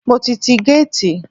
Mo ti tí géètì.